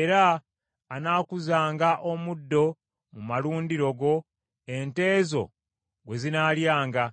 Era anaakuzanga omuddo mu malundiro go ente zo gwe zinaalyanga;